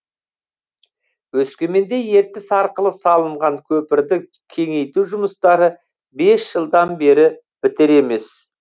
өскеменде ертіс арқылы салынған көпірді кеңейту жұмыстары бес жылдан бері бітер емес